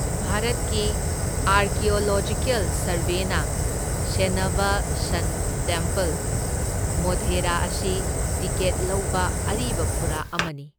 ꯚꯥꯔꯠꯀꯤ ꯑꯥꯔꯀꯤꯑꯣꯂꯣꯖꯤꯀꯦꯜ ꯁꯔꯚꯦꯅ ꯁꯦꯟꯅꯕ ꯁꯟ ꯇꯦꯝꯄꯜ, ꯃꯣꯙꯦꯔꯥ ꯑꯁꯤ ꯇꯤꯀꯦꯠ ꯂꯧꯕ ꯑꯔꯤꯕ ꯐꯨꯔꯥ ꯑꯃꯅꯤ꯫